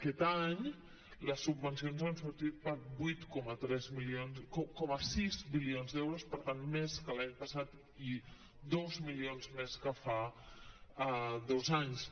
aquest any les subvencions han sortit per vuit coma sis milions d’euros per tant més que l’any passat i dos milions més que fa dos anys